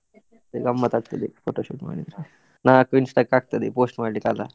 ಮತ್ತೆ ಗಮ್ಮತ್ ಆಗ್ತದೆ photoshoot ಮಾಡಿದ್ರೆ ನಾಲ್ಕು Insta ಕ್ಕೆ ಆಗ್ತದೆ post ಮಾಡ್ಲಿಕ್ಕೆ ಅಲ್ಲ?